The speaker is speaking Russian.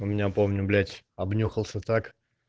у меня помню блять обнюхался так